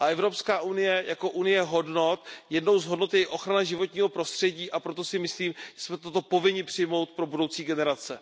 Evropská unie je založena na hodnotách, jednou z těch hodnot je i ochrana životního prostředí, a proto si myslím, že jsme toto povinni přijmout pro budoucí generace.